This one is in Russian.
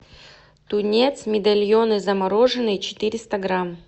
тунец медальоны замороженные четыреста грамм